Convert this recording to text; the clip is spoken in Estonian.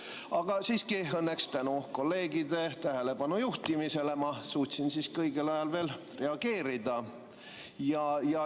Aga õnneks tänu kolleegide tähelepanu juhtimisele suutsin ma õigel ajal reageerida.